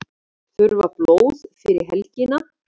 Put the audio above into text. Þurfa blóð fyrir helgina